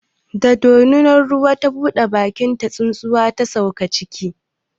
Da dorinar ruwa ta buɗe bakinta, tsuntsuwa ta sauka ciki.